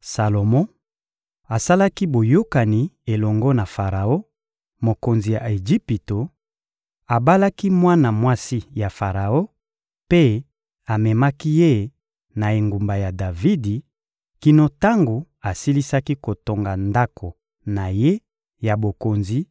Salomo asalaki boyokani elongo na Faraon, mokonzi ya Ejipito; abalaki mwana mwasi ya Faraon mpe amemaki ye na engumba ya Davidi, kino tango asilisaki kotonga ndako na ye ya bokonzi,